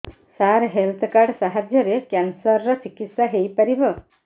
ସାର health card ସାହାଯ୍ୟରେ cancer ର ଚିକିତ୍ସା ହେଇପାରିବ